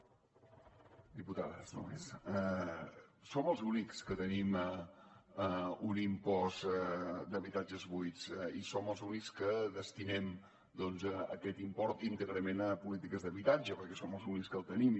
diputades només som els únics que tenim un impost d’habitatges buits i som els únics que destinem aquest doncs import íntegrament a polítiques d’habitatge perquè som els únics que el tenim